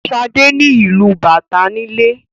Shade ni ilú bàtá nílé.